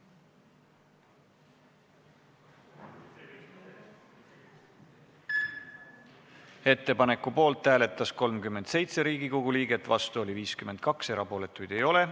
Hääletustulemused Ettepaneku poolt hääletas 37 Riigikogu liiget, vastu oli 52, erapooletuid ei ole.